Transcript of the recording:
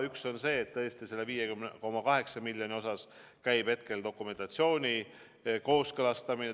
Üks on see, et tõesti, selle 5,8 miljoni osas käib hetkel dokumentatsiooni kooskõlastamine.